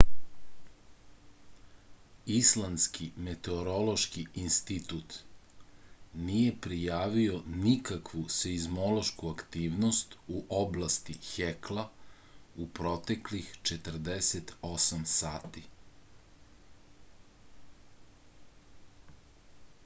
islandski meteorološki institut nije prijavio nikakvu seizmološku aktivnost u oblasti hekla u proteklih 48 sati